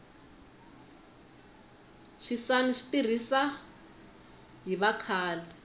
swisani swi tirhisa hi vakhale